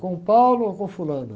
Com o ou com o fulana?